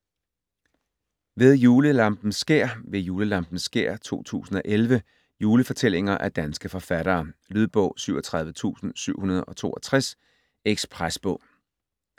Ved julelampens skær: Ved julelampens skær 2011 Julefortællinger af danske forfattere. Lydbog 37762 Ekspresbog